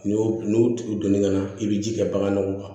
N'i y'o n'u tugu don ɲɔgɔn na i bi ji kɛ bagan na o kan